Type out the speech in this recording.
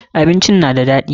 Abincin na da daɗi.